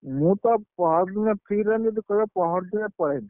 ମୁଁ ତ, ପହର ଦିନ free ରହିବି ଯଦି କହିବ ପହର ଦିନ ପଳେଇବି।